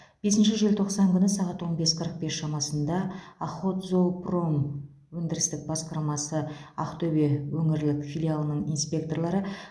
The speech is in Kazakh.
бесінші желтоқсан күні сағат он бес қырық бес шамасында охотзоопром өндірістік басқармасы ақтөбе өңірлік филиалының инспекторлары